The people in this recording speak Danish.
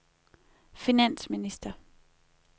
finansminister